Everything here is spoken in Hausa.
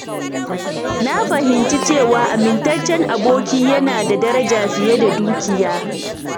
Na fahimci cewa amintaccen aboki yana da daraja fiye da dukiya.